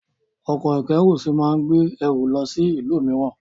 Ọkọ̀-ìkẹ́rùsí máa gbé ẹrù lọ sí ìlú mìíràn.